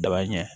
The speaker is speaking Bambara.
Daba ɲɛ